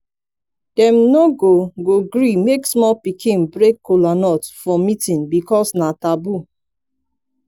dem no go go gree make small pikin break kolanut for meetin because na taboo